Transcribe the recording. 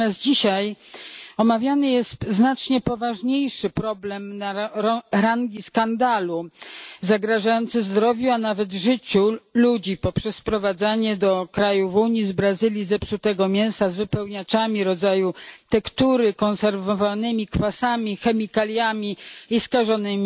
Natomiast dzisiaj omawiany jest znacznie poważniejszy problem rangi skandalu, zagrażający zdrowiu, a nawet życiu ludzi poprzez sprowadzanie do krajów Unii z Brazylii zepsutego mięsa z wypełniaczami w rodzaju tektury, konserwowanego kwasami, chemikaliami i skażonego